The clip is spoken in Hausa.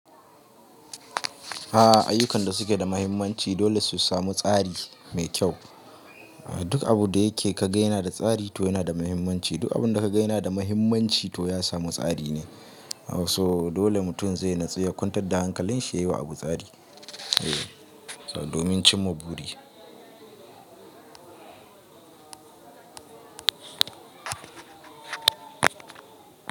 A'a, ayyukan da suke da muhimmanci dole su samu tsari mai kyau. Duk abun da yake ka ga yana da tsari to yana da muhimmanci. Duk abun da ka gayana da muhimmanci to ya samu tsari ne. So dole mutum zai natsu ya kwantar da hankalin shi ya yi wa abu tsari, eh, domin cimma buri.